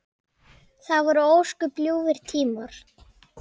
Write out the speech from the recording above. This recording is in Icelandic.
Það voru ósköp ljúfir tímar.